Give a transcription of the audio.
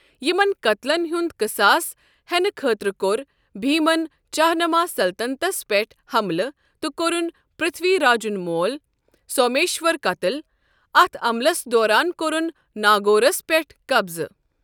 یِمن قتلن ہُنٛد قساس ہینہٕ خٲطرٕ كوٚر بھیمن چاہمانا سلطنتس پٮ۪ٹھ حملہٕ تہٕ کوٚرُن پرتھوی راجُن مول سومیشور قتٕل، اتھ عملس دوران كوٚرُن ناگورس پٮ۪ٹھ قبضہٕ۔